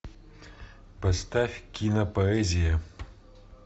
поставь кинопоэзия